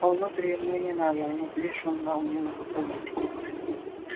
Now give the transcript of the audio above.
а внутрь ему и не надо внутри шумно а у него разговор